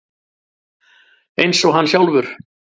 Eins og hann sjálfur.